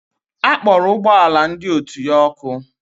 Akpọrọ ụgbọala ndị otu ya ọkụ